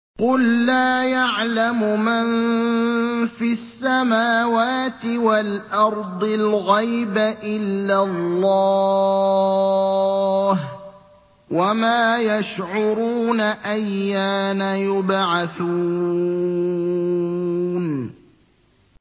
قُل لَّا يَعْلَمُ مَن فِي السَّمَاوَاتِ وَالْأَرْضِ الْغَيْبَ إِلَّا اللَّهُ ۚ وَمَا يَشْعُرُونَ أَيَّانَ يُبْعَثُونَ